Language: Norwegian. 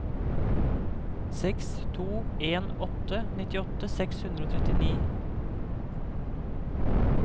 seks to en åtte nittiåtte seks hundre og trettini